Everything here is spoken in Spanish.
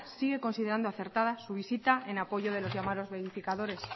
sigue considerando acertada su visita en apoyo de los llamados verificiadores